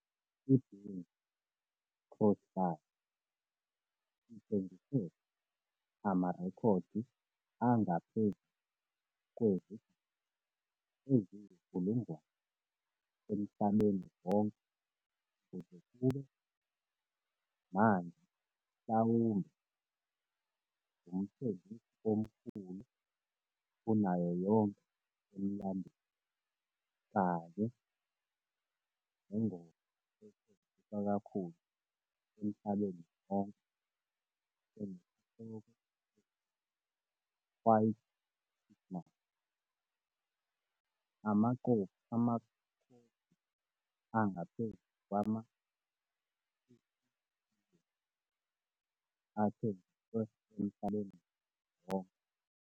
I-Bing Crosby ithengise amarekhodi angaphezu kwezigidi eziyinkulungwane emhlabeni wonke kuze kube manje mhlawumbe ngumthengisi omkhulu kunayo yonke emlandweni, kanye nengoma ethengiswa kakhulu emhlabeni wonke enesihloko esithi White Christmas, amakhophi angaphezu kwama-50,000,000 athengiswe emhlabeni wonke.